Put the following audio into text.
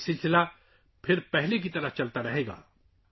اب یہ سلسلہ پہلے کی طرح چلتا رہے گا